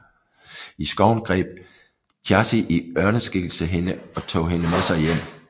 I skoven greb Þjazi i ørneskikkelse hende og tog hende med sig hjem